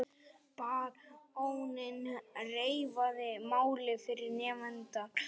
Baróninn reifaði málið fyrir nefndarmönnum.